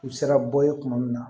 U bɛ se ka bɔ ye tuma min na